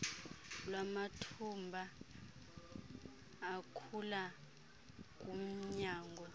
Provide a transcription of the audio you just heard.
lwamathumba akhula kumnyango